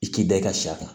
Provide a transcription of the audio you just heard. I k'i da i ka sɛ kan